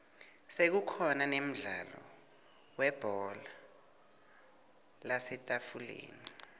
sekukhona nemdlalo webhola lasetafuleni